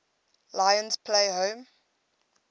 lions play home